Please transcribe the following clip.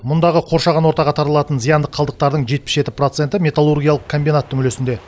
мұндағы қоршаған ортаға таралатын зиянды қалдықтардың жетпіс жеті проценті металлургиялық комбинаттың үлесінде